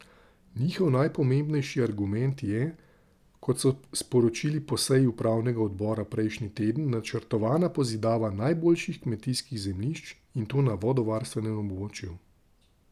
Njihov najpomembnejši argument je, kot so sporočili po seji upravnega odbora prejšnji teden, načrtovana pozidava najboljših kmetijskih zemljišč, in to na vodovarstvenem območju.